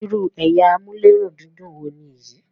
ìrù ẹyà Amulerundidun wò níyì?